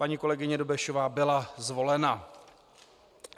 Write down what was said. Paní kolegyně Dobešová byla zvolena.